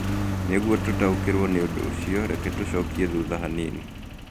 Nĩguo tũtaũkĩrũo nĩ ũndũ ũcio, reke tũcokie thutha hanini.